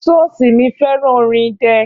Ṣọ́ọ̀ṣì mi fẹ́ràn orin idẹ